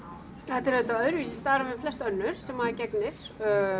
þetta er auðvitað öðruvísi starf en flest önnur sem maður gegnir